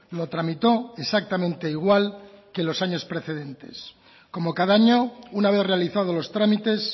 lo tramitó exactamente igual que los años precedentes como cada año una vez realizado los trámites